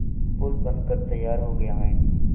पुल बनकर तैयार हो गया है